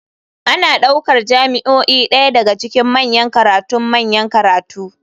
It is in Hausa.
Ana ɗaukar jami'o'i ɗaya daga cikin manyan karatun manyan makarantu.